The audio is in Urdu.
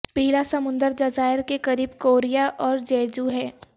پیلا سمندر جزائر کے قریب کوریا اور جیجو ہے